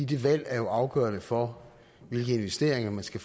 det valg er jo afgørende for hvilke investeringer man skal